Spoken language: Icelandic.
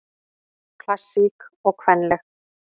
Klassísk og kvenleg